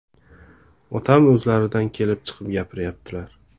Otam o‘zlaridan kelib chiqib gapiryaptilar.